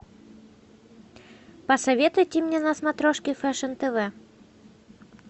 посоветуйте мне на смотрешке фэшн тв